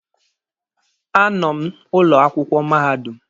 A nọ m ụlọ akwụkwọ mahadum.